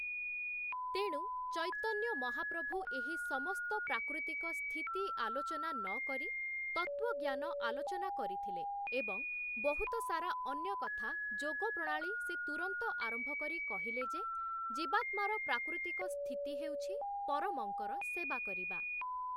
ତେଣୁ ଚୈତନ୍ୟ ମହାପ୍ରଭୁ ଏହି ସମସ୍ତ ପ୍ରାକୃତିକ ସ୍ଥିତି ଆଲୋଚନା ନକରି ତତ୍ତ୍ଵଜ୍ଞାନ ଆଲୋଚନା କରିଥିଲେ ଏବଂ ବହୁତ ସାରା ଅନ୍ୟ କଥା ଯୋଗ ପ୍ରଣାଳୀ ସେ ତୂରନ୍ତ ଆରମ୍ଭ କରି କହିଲେ ଯେ, ଜୀବାତ୍ମାର ପ୍ରାକୃତିକ ସ୍ଥିତି ହେଉଛି ପରମଙ୍କର ସେବା କରିବା ।